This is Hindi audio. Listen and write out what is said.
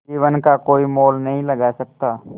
जीवन का कोई मोल नहीं लगा सकता